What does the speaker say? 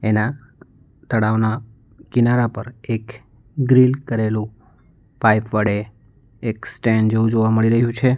એના તળાવના કિનારા પર એક ગ્રીલ કરેલું પાઇપ વડે એક સ્ટેન્ડ જેવું જોવા મળી રહ્યું છે.